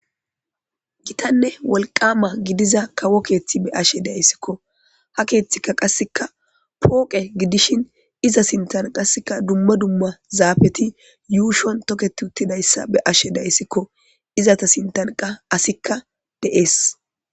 Gitanne wolqama gidiza kawo keeththi be'ashe dayssikko .Ha keeththikka qasseka pooqe gidishin iza sintan qaseka dumma dumma zaafeti yuushon toketi uttidayssa be'ashe dayssikko. Izata sintanqa asikka de'ees.